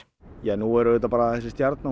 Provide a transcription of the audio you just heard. nú er auðvitað þessi stjarna